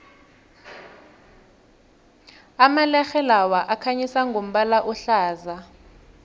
amalerhe lawa akhanyisa ngombala ohlaza